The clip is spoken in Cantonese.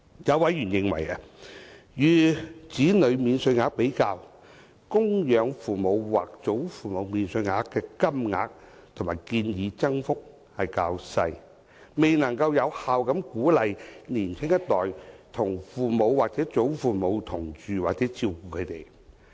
有委員認為，與子女免稅額比較，供養父母或祖父母免稅額的金額和建議增幅較小，未能有效鼓勵年輕一代與父母或祖父母同住或照顧他們。